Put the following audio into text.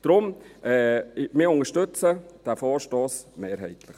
Darum: Wir unterstützen diesen Vorstoss mehrheitlich.